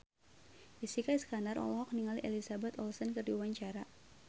Jessica Iskandar olohok ningali Elizabeth Olsen keur diwawancara